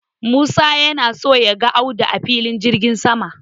Musa yana so ya ga Audu a Filin jirgin sama.